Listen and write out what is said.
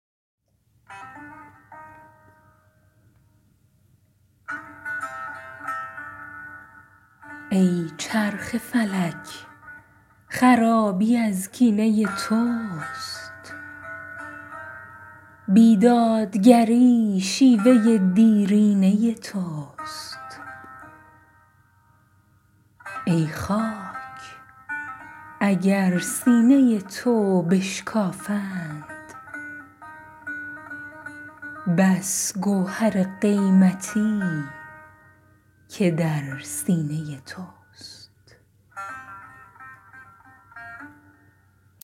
ای چرخ فلک خرابی از کینه توست بی دادگری شیوه دیرینه توست ای خاک اگر سینه تو بشکافند بس گوهر قیمتی که در سینه توست